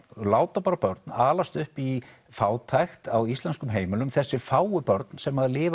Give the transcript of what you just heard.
láta börn alast upp í fátækt á íslenskum heimilum þessi fáu börn sem lifa